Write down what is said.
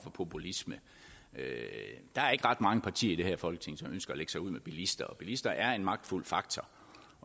populisme der er ikke ret mange partier i det her folketing som ønsker at lægge sig ud med bilister og bilister er en magtfuld faktor